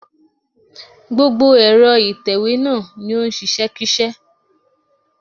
Gbogbo ẹ̀rọ ìtẹ̀wé náà ni ó ń ṣiṣẹ́ṣíṣẹ́.